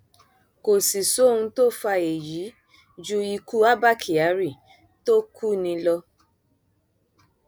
kò sì sóhun tó fa èyí ju ikú abba kyari tó kú ni lọ